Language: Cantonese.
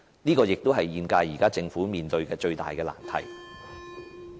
這也是現屆政府現時面對的最大難題。